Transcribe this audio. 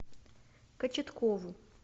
кочеткову